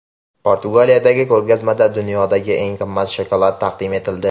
Portugaliyadagi ko‘rgazmada dunyodagi eng qimmat shokolad taqdim etildi.